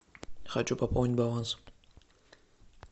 хочу пополнить баланс